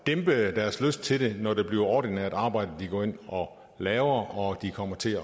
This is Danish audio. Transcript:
dæmpe deres lyst til det når det bliver ordinært arbejde de går ind og laver og de kommer til